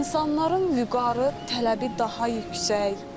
İnsanların vüqarı, tələbi daha yüksək.